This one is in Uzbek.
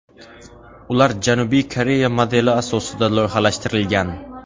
Ular Janubiy Koreya modeli asosida loyihalashtirilgan.